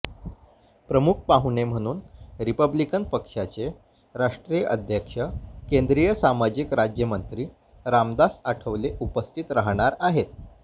प्रमुख पाहुणे म्हणून रिपब्लिकन पक्षाचे राष्ट्रीय अध्यक्ष केंद्रीय सामाजिक राज्यमंत्री रामदास आठवले उपस्थित राहणार आहेत